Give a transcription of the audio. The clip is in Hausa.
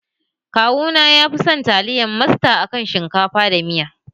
Kawuna ya fison taliyar masta a kan shinkafa da miya.